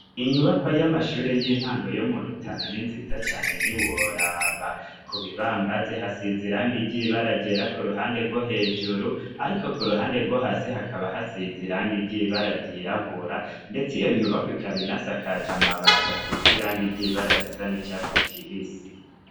Inyubakwa y'amashuri y'intango yo mu Rutana n'inziza cane ntiworaba ,ku bibambazi hasize iranga ry'ibara ryera ku ruhande rwo hejuru, ariko ku ruhande rwo hasi hakaba hasize irangi ry'ibara ryirabura ,ndets' iyo nyubakw' ikabinasakaj 'amabati asiz' irangi ryibara risa n'icatsi kibisi.